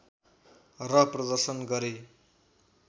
र प्रदर्शन गरे